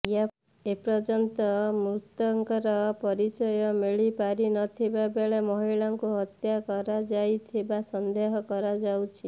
ଏପର୍ୟନ୍ତ ମୃତକର ପରିଚୟ ମିଳିପାରିନଥିବା ବେଳେ ମହିଳାଙ୍କୁ ହତ୍ୟା କରାଯାଇଥିବା ସନ୍ଦେହ କରାଯାଉଛି